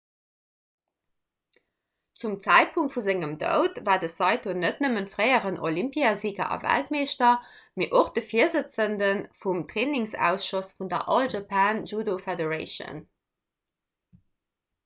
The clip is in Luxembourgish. zum zäitpunkt vu sengem doud war de saito net nëmme fréieren olympiasiger a weltmeeschter mee och de virsëtzende vum trainingsausschoss vun der all japan judo federation